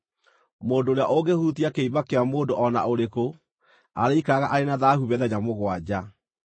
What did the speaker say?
“Mũndũ ũrĩa ũngĩhutia kĩimba kĩa mũndũ o na ũrĩkũ arĩikaraga arĩ na thaahu mĩthenya mũgwanja.